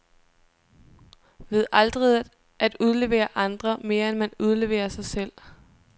Ved aldrig at udlevere andre, mere end man udleverer sig selv.